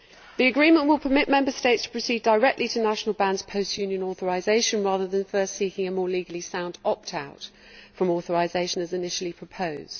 The agreement will permit Member States to proceed directly to national bans post Union authorisation, rather than first seeking a more legally sound opt out from authorisation, as initially proposed.